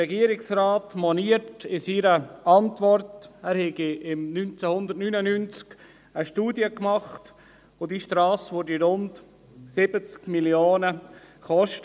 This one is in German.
Der Regierungsrat erklärt in seiner Antwort, er habe im Jahr 1999 eine Studie verfasst, und diese Strasse würde rund 70 Mio. Franken kosten.